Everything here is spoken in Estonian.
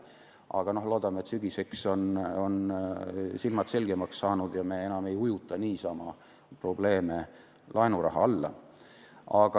Aga loodame, et sügiseks on silmad selgemaks saanud ja me enam ei ujuta probleeme laenurahaga üle.